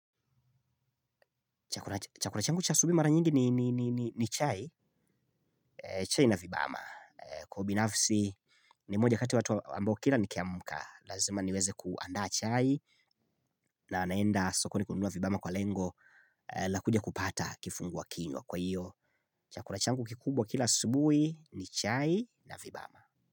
Chakula changu cha asubuhi mara nyingi ni chai. Chai na vibama. Kwa ubinafsi ni moja kati ya watu ambao kila nikiamka lazima niweze kuandaa chai. Na naenda sokoni kununua vibama kwa lengo la kuja kupata kifungua kinywa kwa hiyo chakula changu kikubwa kila asubuhi ni chai na vibama.